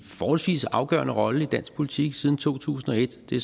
forholdsvis afgørende rolle i dansk politik siden to tusind og et det